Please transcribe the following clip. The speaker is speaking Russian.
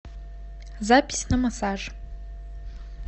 запись на массаж